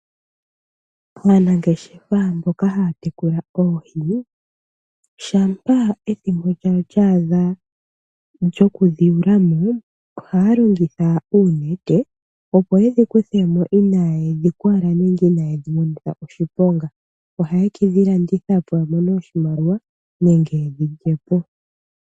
Aanangeshefa mboka haya tekula oohi, shampa ethimbo lyadho lyaadha lyokudhi yuulamo, ohaya longitha oonete opo yedhi kuthemo inayedhi kwala nenge inaye dhi monitha oshiponga. Ohaye kedhi landithapo opo yamone oshimaliwa nenge yedhi lyepo.